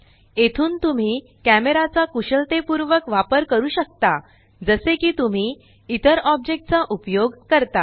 येथून तुम्ही कॅमेराचा कुशलतेपूर्वक वापर करू शकता जसे की तुम्ही इतर ऑब्जेक्ट चा उपयोग करता